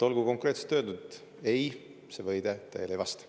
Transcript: Olgu konkreetselt öeldud, et ei, see väide tõele ei vasta.